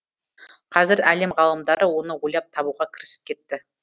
қазір әлем ғалымдары оны ойлап табуға кірісіп кетті